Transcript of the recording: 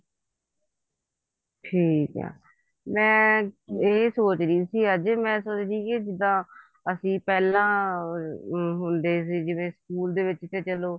ਠੀਕ ਆ ਮੈਂ ਇਹ ਸੋਚ ਰਹੀ ਸੀ ਅੱਜ ਮੈਂ ਸੋਚ ਰਹੀ ਸੀ ਜਿੱਦਾਂ ਅਸੀਂ ਪਹਿਲਾਂ ਹੁੰਦੇ ਸੀ ਸਕੂਲ ਦੇ ਵਿੱਚ ਜਦੋਂ